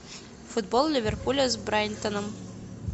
футбол ливерпуля с брайтоном